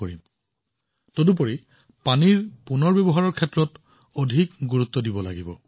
ইয়াৰ বাহিৰেও আমি পানীৰ পুনৰ্ব্যৱহাৰৰ ওপৰত সমানে গুৰুত্ব দিব লাগিব